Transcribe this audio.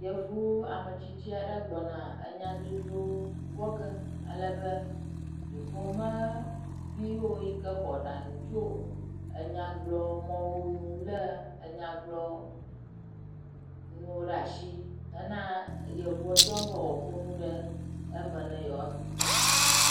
Yevu ametsitsi aɖe gbɔna enya dzodzro wɔ ge alebe dukɔmeviwo yike xɔ aɖaŋu tso enyagblɔmɔwo nu lé enyagblɔnuwo ɖe asi hena eyevuɔ dzɔm be wòaƒo nu eme be yewoase.